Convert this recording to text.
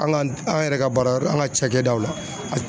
An ka an yɛrɛ ka baara yɔrɔ an ka cakɛdaw la.